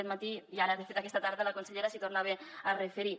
aquest matí i ara de fet aquesta tarda la consellera s’hi tornava a referir